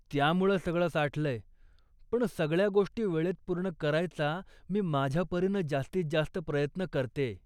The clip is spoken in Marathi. त्यामुळं सगळं साठलंय, पण सगळ्या गोष्टी वेळेत पूर्ण करायचा मी माझ्यापरीनं जास्तीत जास्त प्रयत्न करतेय.